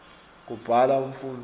kubhala umfundzi